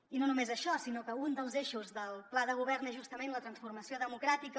i no només això sinó que un dels eixos del pla de govern és justament la transformació democràtica